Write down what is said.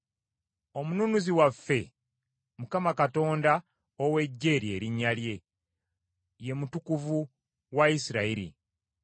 Omununuzi waffe Mukama Katonda ow’Eggye lye linnya lye, ye Mutukuvu wa Isirayiri.